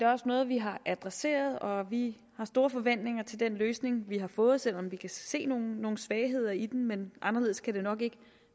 også noget vi har adresseret og vi har store forventninger til den løsning vi har fået selv om vi kan se nogle nogle svagheder i den men anderledes kan det nok ikke